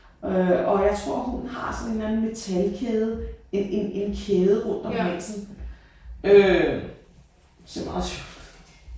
Øh og jeg tror hunden har sådan en eller anden metalkæde en en kæde rundt om halsen øh som også